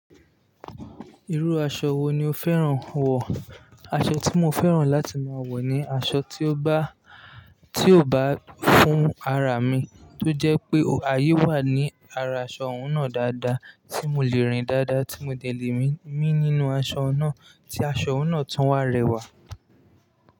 Irú aṣọ wo ni o fẹ́ràn wọ̀? Aṣọ tí mo fẹ́ràn láti máa wọ̀ ni aṣọ tí ó bá, tí ó bá fún ara mi, tó jẹ́ pé àyè wà ní ara aṣọ ọ̀hún náà dáadáa, tí mò lè rìn dáadáa, tí mo dẹ̀ lè mí nínu aṣọ náà, tí aṣọ ọ̀hún náà tún wá rẹwà.